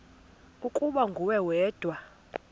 ukuba nguwe wedwa